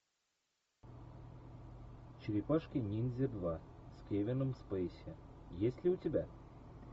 черепашки ниндзя два с кевином спейси есть ли у тебя